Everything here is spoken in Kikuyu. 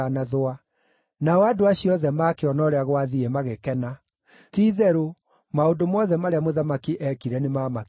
Nao andũ acio othe maakĩona ũrĩa gwathiĩ magĩkena; ti-itherũ, maũndũ mothe marĩa mũthamaki eekire nĩmamakenirie.